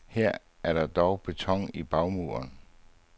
Her er der dog beton i bagmuren.